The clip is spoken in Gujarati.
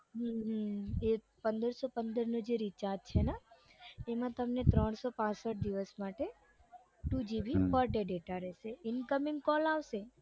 હમ એ પંદરસો પંદરનો જે recharge છે ને એમાં તમને ત્રણસો પાંસઠ દિવસ માટે two gb per day data રેસે incoming call આવશે